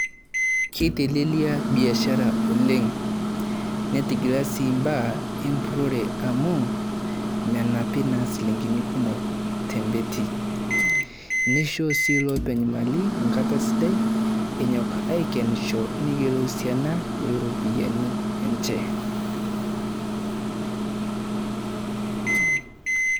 Keitelelia biasharaa oleng neting'ilaa sii mbaa e mpurore amu menapii naa silingini kumook te mbeeti. Neishoo sii lopeny' maali nkaata sidaai enyok aikenisho neiyeloo si ana ropiani enchee.